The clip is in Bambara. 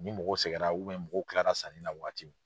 Ni mɔgɔw sɛgɛra mɔgɔw kilara sanni na wagati min.